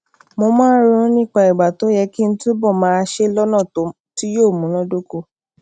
mo máa ń ronú nípa ìgbà tó yẹ kí n túbò máa ṣe é lónà tí yóò múnádóko